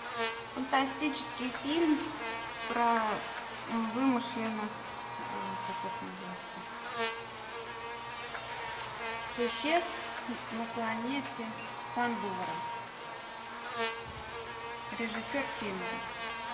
фантастический фильм про вымышленных как их назвать то существ на планете пандора режиссер кэмерон